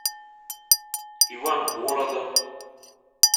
ивангородом